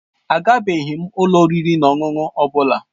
Agabeghị m ụlọ oriri na ọṅụṅụ ọ bụla.